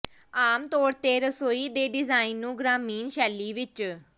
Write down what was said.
ਆਮ ਤੌਰ ਤੇ ਰਸੋਈ ਦੇ ਡਿਜ਼ਾਇਨ ਨੂੰ ਗ੍ਰਾਮੀਣ ਸ਼ੈਲੀ ਵਿਚ